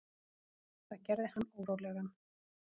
Það gerði hann órólegan.